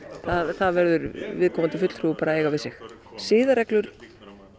það verður viðkomandi fulltrúi bara að eiga við sig siðareglur